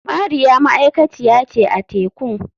Mariya ma'aikaciya ce a tekun.